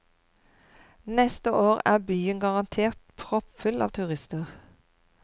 Neste år er byen garantert proppfull av turister.